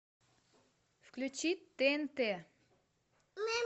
включи тнт